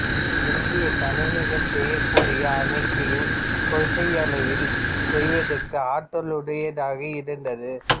இது இன்றைய கணினிகள் செய்யக்கூடிய அனைத்தையும் கொள்கையளவில் செய்வதற்கு ஆற்றலுடையதாக இருந்தது